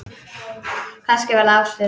Kannski var það ástin.